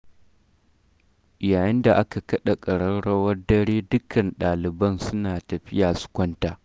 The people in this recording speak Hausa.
Yayin da aka kaɗa ƙararrwar dare dukkan ɗaliban suna tafiya su kwanta.